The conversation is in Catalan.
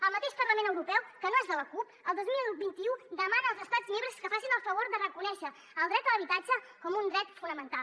el mateix parlament europeu que no és de la cup el dos mil vint u demana als estats membres que facin el favor de reconèixer el dret a l’habitatge com un dret fonamental